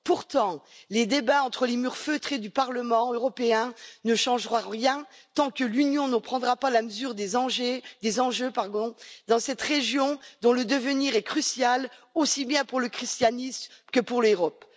Pourtant, les débats entre les murs feutrés du Parlement européen ne changeront rien tant que l'Union ne prendra pas la mesure des enjeux dans cette région dont le devenir est crucial, aussi bien pour le christianisme que pour l'Europe.